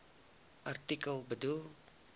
artikel bedoel